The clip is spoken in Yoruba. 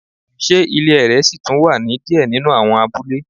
Se ile ẹrẹ si tun wa ni diẹ ninu awọn abule